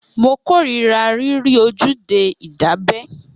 Mo kórira rírí ojúde ìdábẹ́